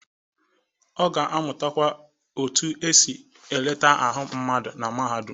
Ọ ga-amutakwa otu esi eleta ahụ mmadụ na mahadum.